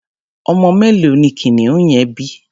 Ọmọ mélòó ni kìnìún yẹn bí?